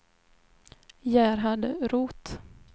Gerhard Roth